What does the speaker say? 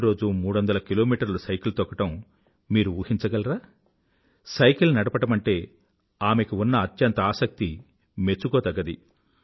ప్రతిరోజూ మూడొందల కిలోమీటర్లు సైకిల్ తొక్కడం మీరు ఊహించగలరా సైకిల్ నడపడమంటే ఆమెకి ఉన్న అత్యంత ఆసక్తి మెచ్చుకోదగ్గది